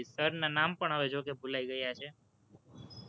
sir ના નામ પણ હવે જોકે ભુલાય ગયા છે.